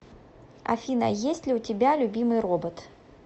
афина есть ли у тебя любимый робот